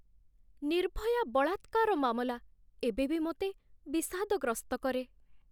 ନିର୍ଭୟା ବଳାତ୍କାର ମାମଲା ଏବେ ବି ମୋତେ ବିଷାଦଗ୍ରସ୍ତ କରେ।